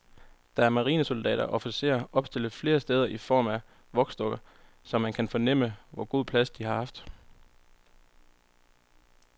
Der er marinesoldater og officerer opstillet flere steder i form af voksdukker, så man kan fornemme, hvor god plads de har haft.